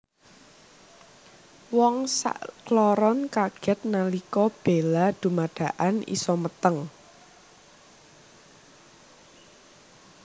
Wong sakloron kaget nalika Bella dumadakan isa meteng